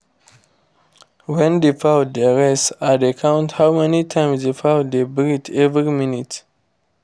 when the fowl dey rest i dey count how many times the fowl dey breathe every minute